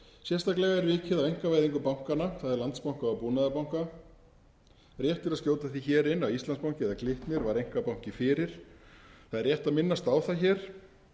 sérstaklega er vikið að einkavæðingu bankanna það er landsbanka og búnaðarbanka rétt er að skjóta því hér inn að íslandsbanki eða glitnir var einkabanki fyrir það er rétt að minnast á það hér